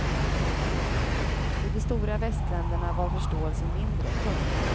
I de stora västländerna var förståelsen mindre. punkt